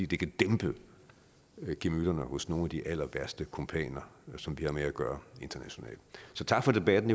det kan dæmpe gemytterne hos nogle af de allerværste kumpaner som vi har med at gøre internationalt så tak for debatten